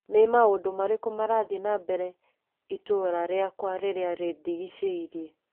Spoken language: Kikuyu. Nĩ maũndũ marĩkũ marathiĩ na mbere itũra rĩakwa rĩrĩa rĩndigicĩirie?